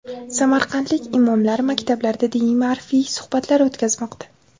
Samarqandlik imomlar maktablarda diniy-ma’rifiy suhbatlar o‘tkazmoqda.